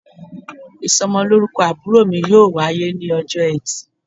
isómolorúkó àbúrò mi yóò wayé ni òjó ètì